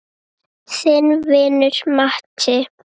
Þinn vinur Matti.